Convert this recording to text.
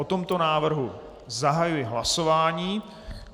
O tomto návrhu zahajuji hlasování.